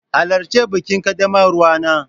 Halarci bikin ƙaddamarwa nan!